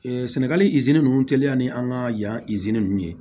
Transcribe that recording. sɛnɛgali nunnu teliya ni an ka yan ninnu ye